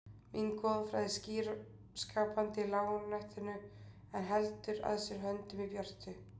Mín goðafræði er skýr skapandi í lágnættinu en heldur að sér höndum í björtu